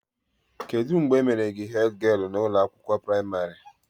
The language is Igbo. Kedụ mgbe e mere gị hedgialụ na ụlọ akwụkwọ pramarị?